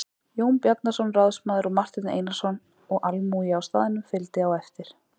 Jón Bjarnason ráðsmaður og Marteinn Einarsson og almúgi á staðnum fylgdi á eftir.